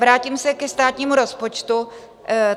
Vrátím se ke státnímu rozpočtu.